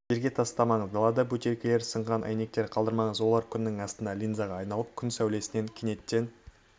жерге тастамаңыз далада бөтелкелер сынған әйнектер қалдырмаңыз олар күннің астында линзаға айналып күннің сәулесінен кенеттен